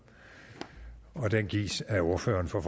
og den gives af ordfører for